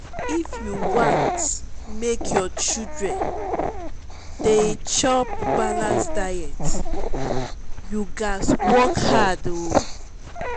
if you wan make your children dey chop balanced diet you gats work hard. um